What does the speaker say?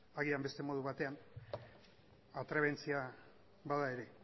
agian beste modu batean atrebentzia bada ere